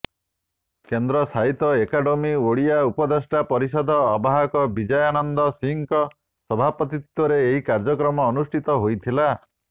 କେନ୍ଦ୍ର ସାହିତ୍ୟ ଅକାଦେମି ଓଡ଼ିଆ ଉପଦେଷ୍ଟା ପରିଷଦର ଆବାହକ ବିଜୟାନନ୍ଦ ସିଂହଙ୍କ ସଭାପତିତ୍ବରେ ଏହି କାର୍ଯ୍ୟକ୍ରମ ଅନୁଷ୍ଠିତ ହୋଇଥିଲା